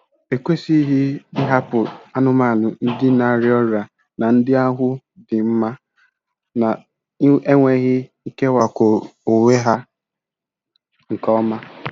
E kwesịghị ịhapụ anụmanụ ndị na-arịa ọrịa na ndị ahụ dị mma na-enweghị ikewapụ onwe ha nke ọma.